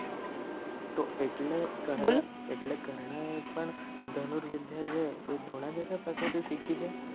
તો એટલે એટલે કર્ણ એ પણ ધનુરવિધ્ય છે એ દ્રોણાચાર્ય પાસે થી સિખી છે?